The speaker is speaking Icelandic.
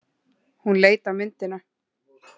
Hún leit á myndina.